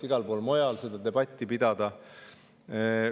Igal pool mujal seda debatti ka pidada.